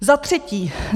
Za třetí.